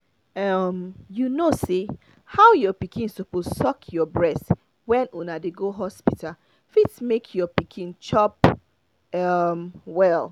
um you know say how your pikin suppose suck your breast when una dey go hospital fit make your pikin dey chop well